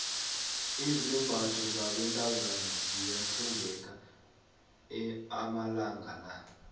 izambatho zabentazana ziyathengeka amalanga la